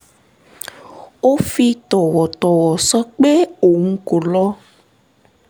ó fi tọ̀wọ̀tọ̀wọ̀ sọ pé òun kò lọ